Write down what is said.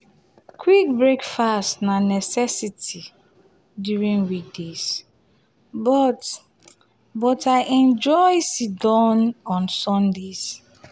quick breakfast na necessity during weekdays but but i enjoy sit-down on sundays.